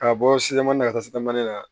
Ka bɔ sitan na ka taa sitamana na